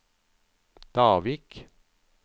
Davik